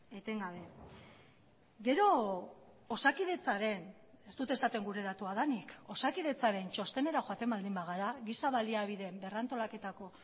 etengabe gero osakidetzaren ez dut esaten gure datua denik osakidetzaren txostenera joaten baldin bagara giza baliabideen berrantolaketako